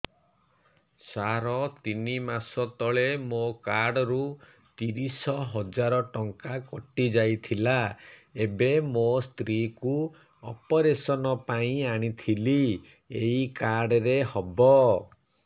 ସାର ତିନି ମାସ ତଳେ ମୋ କାର୍ଡ ରୁ ତିରିଶ ହଜାର ଟଙ୍କା କଟିଯାଇଥିଲା ଏବେ ମୋ ସ୍ତ୍ରୀ କୁ ଅପେରସନ ପାଇଁ ଆଣିଥିଲି ଏଇ କାର୍ଡ ରେ ହବ